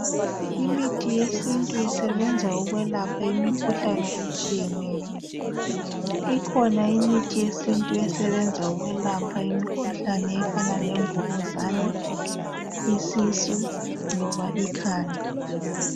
Imithi yesintu isebenza ukwelapha imikhuhlane etshiyeneyo. Ikhona imithi yesintu esebenza ukwelapha imikhuhlane efana lemvukuzane, isisu loba ikhanda.